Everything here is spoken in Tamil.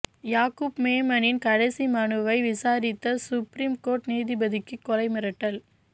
யாகூப் மேமனின் கடைசி மனுவை விசாரித்த சுப்ரீம் கோர்ட் நீதிபதிக்கு கொலை மிரட்டல்